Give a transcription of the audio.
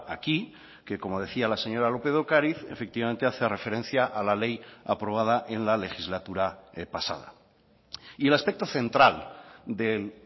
aquí que como decía la señora lópez de ocariz efectivamente hace referencia a la ley aprobada en la legislatura pasada y el aspecto central del